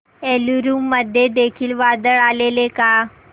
एलुरू मध्ये देखील वादळ आलेले का